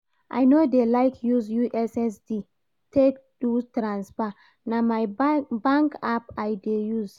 I no dey like use ussd take do transfer, na my bank app I dey use